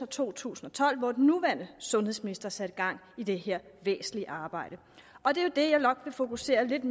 to tusind og tolv hvor den nuværende sundhedsminister satte gang i det her væsentlige arbejde og det er jo det jeg nok vil fokusere lidt